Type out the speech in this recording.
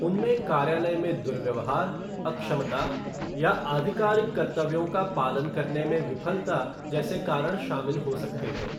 उनमें कार्यालय में दुर्व्यवहार, अक्षमता या आधिकारिक कर्तव्यों का पालन करने में विफलता जैसे कारण शामिल हो सकते हैं।